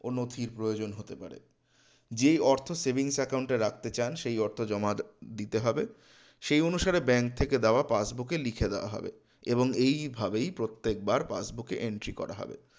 ও নথির প্রয়োজন হতে পারে যেই অর্থ saving account এ রাখতে চান সেই অর্থ জমা দিতে হবে সেই অনুসারে bank থেকে দেওয়া passbook এ লিখে দেওয়া হবে এবং এইভাবেই প্রত্যেকবার passbook এ entry করা হবে